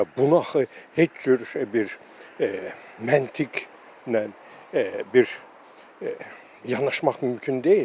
Bunu axı heç cür bir məntiq bir yanaşmaq mümkün deyil.